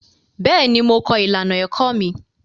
Bẹ́ẹ̀ ni, mo kọ ìlànà èkọ́ mi.